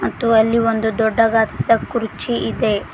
ಮತ್ತು ಅಲ್ಲಿ ಒಂದು ದೊಡ್ಡದಾದಂತ ಕುರ್ಚಿ ಇದೆ.